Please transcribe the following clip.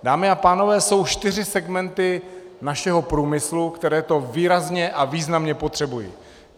Dámy a pánové, jsou čtyři segmenty našeho průmyslu, které to výrazně a významně potřebují.